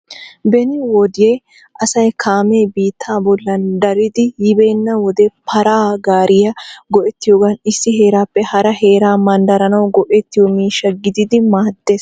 Beni wode asay kaame biittaa bollan daridi yiibeena wode para gaariyaa go"ettiyoogan issi heerappe hara heeraa manddaranaw go"ettiyo miishsha gididi maaddees.